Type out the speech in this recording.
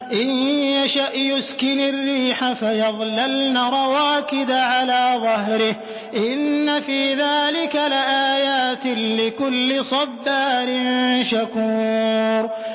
إِن يَشَأْ يُسْكِنِ الرِّيحَ فَيَظْلَلْنَ رَوَاكِدَ عَلَىٰ ظَهْرِهِ ۚ إِنَّ فِي ذَٰلِكَ لَآيَاتٍ لِّكُلِّ صَبَّارٍ شَكُورٍ